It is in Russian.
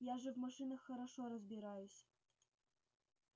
я же в машинах хорошо разбираюсь